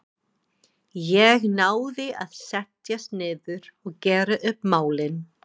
Ég náði að setjast niður og gera upp málin.